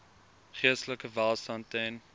geestelike welstand ten